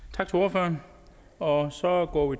tak til ordføreren og så går